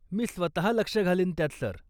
मी स्वतः लक्ष घालीन त्यात, सर.